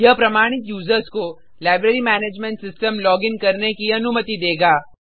यह प्रमाणित यूज़र्स को लाइब्रेरी मैनेजमेंट सिस्टम लॉगिन करने की अनुमति देगा